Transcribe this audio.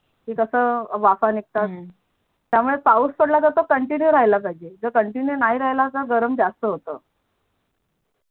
ते कस वाफा निगतात त्यामुळे पाऊस पडला तर तो कंटिन्यू राहला पाहिजे जर कंटिन्यू नाही राहाल तर गरम जास्त होत